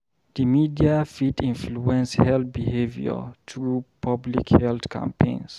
Di media fit influence health behavior through public health campaigns.